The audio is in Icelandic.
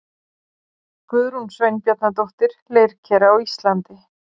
Guðrún Sveinbjarnardóttir, Leirker á Íslandi.